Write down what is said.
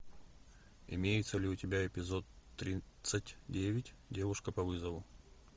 имеется ли у тебя эпизод тридцать девять девушка по вызову